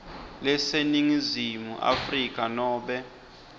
laseningizimu afrika nobe